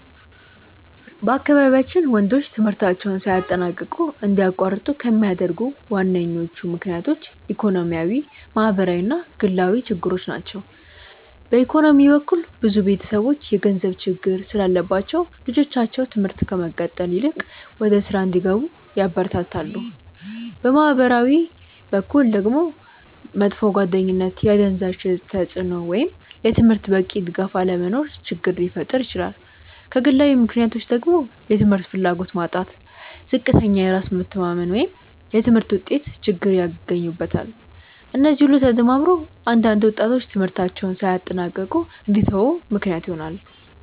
በአካባቢያችን ወንዶች ትምህርታቸውን ሳያጠናቅቁ እንዲያቋርጡ ከሚያደርጉ ዋነኞቹ ምክንያቶች ኢኮኖሚያዊ፣ ማህበራዊ እና ግላዊ ችግሮች ናቸው። በኢኮኖሚ በኩል ብዙ ቤተሰቦች የገንዘብ ችግር ስላለባቸው ልጆቻቸው ትምህርት ከመቀጠል ይልቅ ወደ ሥራ እንዲገቡ ያበረታታሉ። በማህበራዊ በኩል ደግሞ መጥፎ ጓደኝነት፣ የአደንዛዥ እፅ ተጽእኖ ወይም ለትምህርት በቂ ድጋፍ አለመኖር ችግር ሊፈጥር ይችላል። ከግላዊ ምክንያቶች ደግሞ የትምህርት ፍላጎት ማጣት፣ ዝቅተኛ የራስ መተማመን ወይም የትምህርት ውጤት ችግር ይገኙበታል። እነዚህ ሁሉ ተደማምረው አንዳንድ ወጣቶች ትምህርታቸውን ሳያጠናቅቁ እንዲተዉ ምክንያት ይሆናሉ።